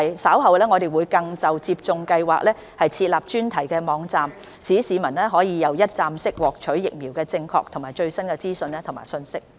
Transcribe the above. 稍後我們更會就接種計劃設立專題網站，讓市民可以一站式獲取關於疫苗的正確和最新資料和信息。